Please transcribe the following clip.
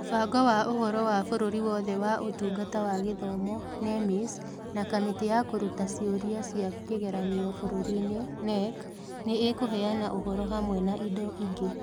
Mũbango wa Ũhoro wa Bũrũri Wothe wa Ũtungata wa Gĩthomo (NEMIS) na Kamĩtĩ ya Kũruta ciũria cia kĩgeranio Bũrũri-ini (KNEC) nĩ ikũheana ũhoro hamwe na indo ingĩ